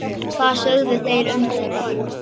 Hvað sögðu þeir um þetta?